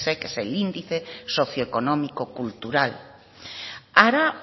isec es el índice socioeconómico cultural hará